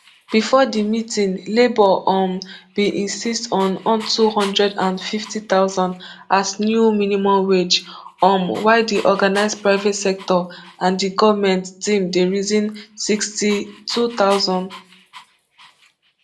before di meeting labour um bin insist on ntwo hundred and fifty thousand as new minimum wage um while di organised private sector and di goment team dey reason nsixty-two thousand